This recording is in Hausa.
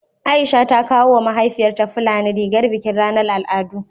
Aisha ta kawo wa mahaifiyarta fulani rigar bikin ranar al'adu